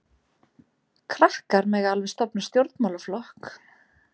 Krakkar mega alveg stofna stjórnmálaflokk.